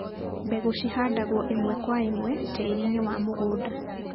Mbegucihandagwo ĩmwe kwa imwe tĩrinĩ wa mũgũnda.